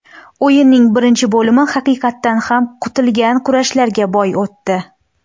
O‘yinning birinchi bo‘lim haqiqatdan ham kutilgan kurashlarga boy o‘tdi.